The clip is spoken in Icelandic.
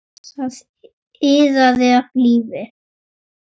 Það iðaði af lífi.